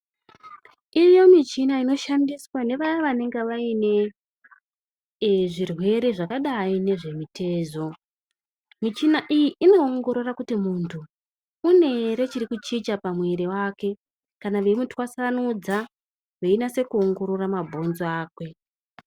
Iriyo michina inoshandiswa ngevaya vanenge varine zvirwere zvakadai nezvemitezo. Michina iyi inoongorora kuti muntu une ere chiri kuchicha pamwiri wake, kana veimutwasanudza, veinase kuongorora mabhonzo akwe.